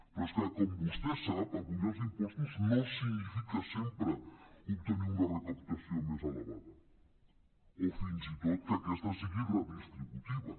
però és que com vostè sap apujar els impos·tos no significa sempre obtenir una recaptació més elevada o fins i tot que aquesta sigui redistributiva